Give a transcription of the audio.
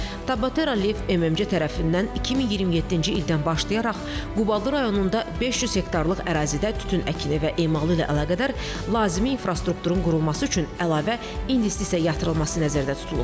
Tabatera Live MMC tərəfindən 2027-ci ildən başlayaraq Qubadlı rayonunda 500 hektarlıq ərazidə tütün əkini və emalı ilə əlaqədar lazımi infrastrukturun qurulması üçün əlavə investisiya yatırılması nəzərdə tutulur.